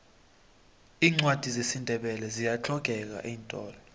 iincwadi zesindebele ziyahlogeka eentolo